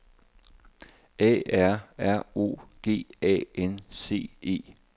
A R R O G A N C E